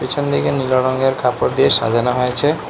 পেছনদিকে নীলো রঙের কাপড় দিয়ে সাজানো হয়েছে।